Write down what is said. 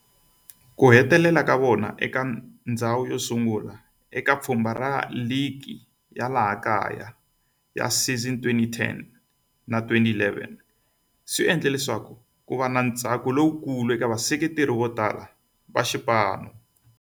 Ku hetisa ka vona eka ndzhawu yosungula eka pfhumba ra ligi ya laha kaya ya 2010-11 swi endle leswaku kuva na ntsako lowukulu eka vaseketeri votala va xipano.